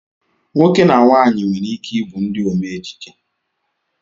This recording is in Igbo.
Nwoke na nwanyị nwere ike ịbụ ndị omeejije